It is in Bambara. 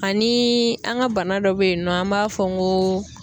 Aniii an ka bana dɔ bɛ yen nɔ an b'a fɔ n kooo.